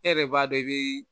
E yɛrɛ b'a dɔn i biii